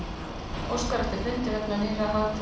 Óskar eftir fundi vegna nýrra hagtalna